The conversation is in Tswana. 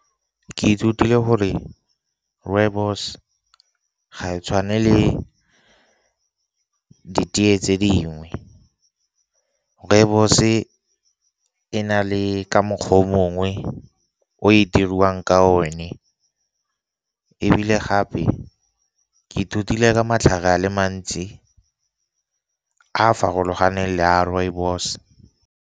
Ke ithutile gore rooibos ga e tshwane le ditee tse dingwe, rooibos-e e na le ka mokgwa o mongwe o e dirwang ka o ne. Ebile gape ke ithutile ka matlhare a le mantsi a a farologaneng le a rooibos.